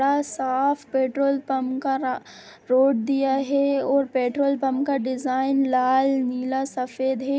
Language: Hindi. इतना साफ पेट्रोल पंप का रा रोड दिया है और पेट्रोल पंप का डिज़ाइन लाल नीला सफेद है।